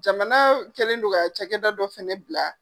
Jamana kɛlen don ka cɛkɛda dɔ fɛnɛ bila.